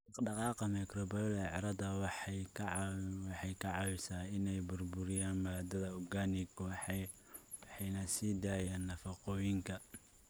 Dhaqdhaqaaqa microbial ee carrada waxay ka caawisaa inay burburiyaan maadada organic waxayna sii daayaan nafaqooyinka.